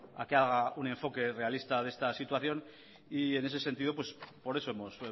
a que haga un enfoque realista de esta situación y en ese sentido por eso hemos